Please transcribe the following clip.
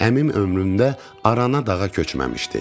Əmim ömründə arana dağa köçməmişdi.